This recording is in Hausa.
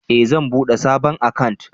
Eh zan bude sabon akant